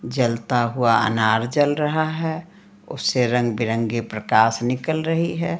जलता हुआ अनार जल रहा है उससे रंगबिरंगे प्रकाश निकल रही है।